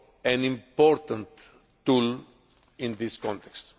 an important tool in this context.